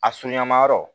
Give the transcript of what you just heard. A sunɲamayɔrɔ